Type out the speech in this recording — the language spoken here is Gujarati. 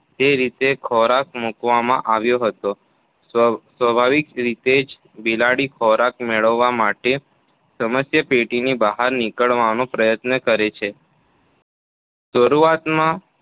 તે રીતે ખોરાક મૂકવામાં આવ્યો હતો. સ્વાભાવિક રીતે જ બિલાડી ખોરાક મેળવવા માટે સમસ્યાપેટીની બહાર નીકળવાનો પ્રયાસ કરવા લાગી. શરૂઆતમાં